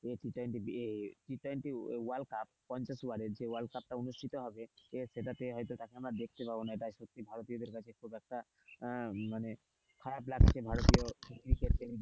এটি T twenty এ T twenty world cup যে কাপ টা অনুষ্ঠিত হবে সে সেটাতে হয়তো দেখতে পাবো না এটাই ভারতীয়দের কাছে খুব একটা আহ মানে খারাপ লাগছে ভারতীয় ক্রিকেট প্রেমীদের,